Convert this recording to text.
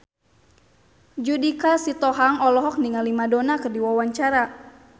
Judika Sitohang olohok ningali Madonna keur diwawancara